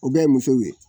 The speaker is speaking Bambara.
O bɛɛ ye musow ye